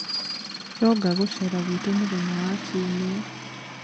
Ronga gũceera gwitũ mũthenya wa Kiumia.